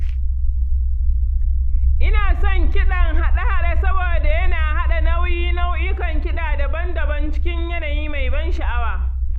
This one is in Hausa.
Ina son kiɗan haɗa-haɗe saboda yana haɗa nauyi nau'ikan kiɗa daban-daban cikin yanayi mai ban sha’awa.